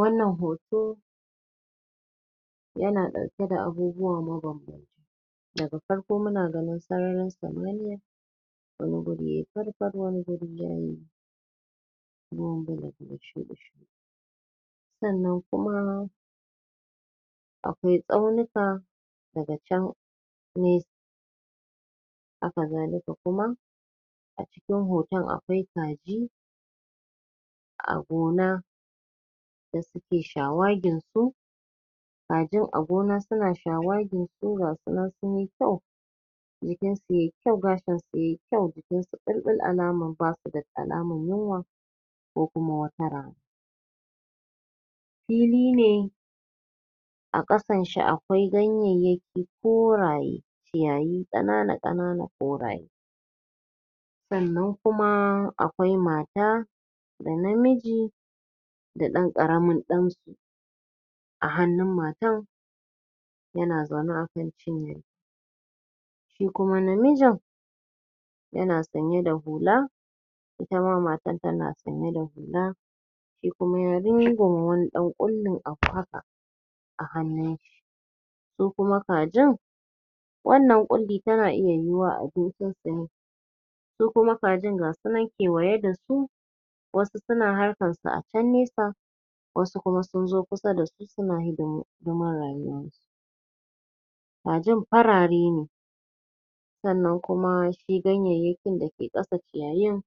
wannan hoto yana ɗ auke da abubuwa mabam daga farko muna ganin sararin samaniya wani guri yayi fari fari wani gurin yayi? sannan kuma akwai ƙyauyuka daga can mai haka zalika kuma a cikin hoton akwai kaji a gona da suke shawagin su kajin a gona suna shawagin su su gasunan sunyi kyau jikinsu yayi kyau gashin su yayi kyau jikin su ɓulɓul alaman ba su da alaman yunwa ko kuma wata ra fili ne a ƙasan su a kwai ganyayyaki duk koraye ciyayi ƙanana ƙanana koraye sannan kuma akwai mata da namiji da ɗan ƙaramin ɗansu a hannun matan yana zaune akan cinya shikuma na nesa yana sanye da hula itama matan tana sanye da hula shikuma namijin wani ɗan ƙuli a haka a hannun shi su kuma kajin wannan ƙullin tana iya yiwuwa abincin su ne su kuma kajin ga su nan kwaye da su wasu suna harkan su a can nesa wasu kuma sunzo kusa da sunayi da suma rayuwa kajin farare ne sannan kuma su ganyayyaki da ke ƙasa shanye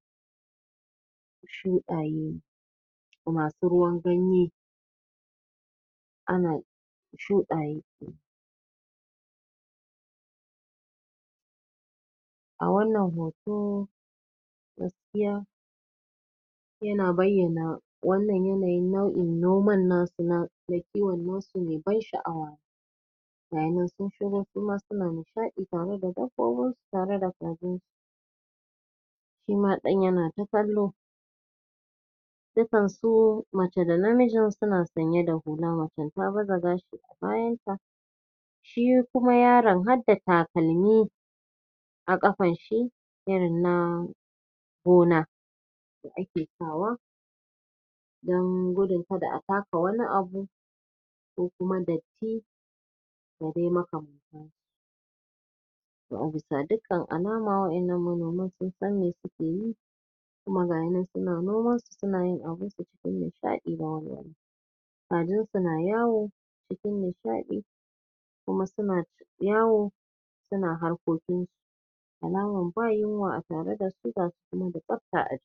tsuntsaye masu ruwan ganye ana tsuntsaye a wannan hoto gaskiya yana bayyana wannan yanayi nau'in noman nasu na mai kiwan nasumai ban sha'awa gayinan suma sun shigo suna nishaɗi tare da dabbobin su tare da kobe shima ɗayan yanata kallo dukansu mace da namijin suna sanye da hula macen tafi daban bayanta shi kuma yaron harda takalmi a ƙafan shi irin na gona yake sawa don gudun kada a taka wani abu ko kuma datti da dai imaka a bisa dukkan alama wa'innan manoman sun san me suke yi kuma gayinan suna noman su suna yin abinsu cikin nishaɗi da wal kajin su na yawo cikin nishaɗi kuma suna yawo suna harkokin su alaman ba yunwa a tare da su ga su kuma da tsabta a